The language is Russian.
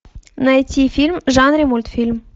найти фильм в жанре мультфильм